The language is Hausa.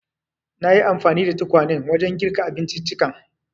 Nayi anfani da tukwanen wajen girka abinciccikan.